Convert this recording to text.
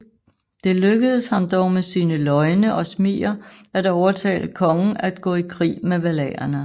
Det lykkes ham dog med sine løgne og smiger at overtale kongen at gå i krig med valaerne